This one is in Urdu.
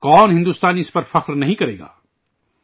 کون ہندوستانی اس پر فخر نہیں کرے گا؟